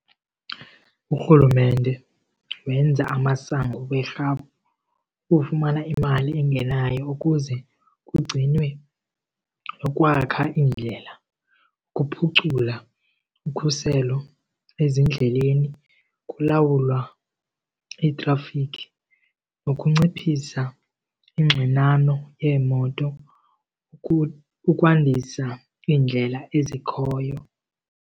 Urhulumente wenza amasango werhafu ukumana imali engenayo ukuze kugcinwe nokwakha iindlela, ukuphucula ukhuselo ezindleleni, ukulawulwa itrafikhi nokunciphisa ingxinano yeemoto ukwandisa iindlela ezikhoyo.